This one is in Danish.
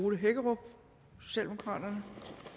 ole hækkerup socialdemokraterne